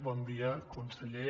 bon dia conseller